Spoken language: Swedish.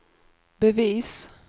bevis